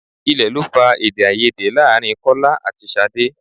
Ilẹ̀ lọ fà Èdèáiyedé láàrin Kọ́lá àti Ṣadé.